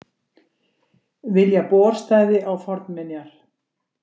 Vilja borstæði á fornminjar